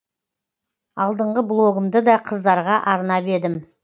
алдыңғы блогымды да қыздарға арнап едім